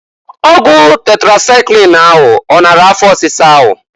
Ọgwụ tetrasaịklin ahụ ọ nara afọ ọsisa ahụ?